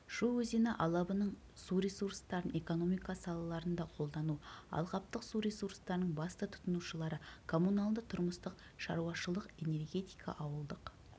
шу өзені алабының су ресурстарын экономика салаларында қолдану алаптық су ресурстарының басты тұтынушылары коммуналдытұрмыстық шаруашылық энергетика ауылдық